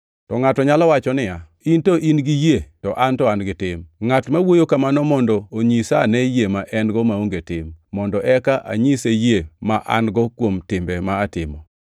To ngʼato nyalo wacho niya, “In to in-gi yie, to an to an-gi tim.” Ngʼat ma wuoyo kamano mondo onyisa ane yie ma en-go maonge tim, mondo eka anyise yie ma an-go kuom timbe ma atimo.